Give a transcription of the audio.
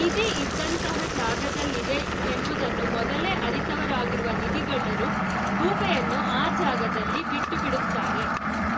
ನಿಧಿ ಇದ್ದಂತಹ ಜಾಗದಲ್ಲಿದೆ ಎಂಬುದನ್ನು ಮೊದಲೇ ಅರಿತವರಾಗಿರುವ ನಿಧಿಗಳ್ಳರು ಗೂಬೆಯನ್ನು ಆ ಜಾಗದಲ್ಲಿ ಬಿಟ್ಟುಬಿಡುತ್ತಾರೆ